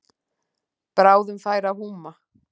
Bráðum færi að húma.